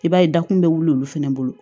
I b'a ye dakun bɛ wuli olu fana bolo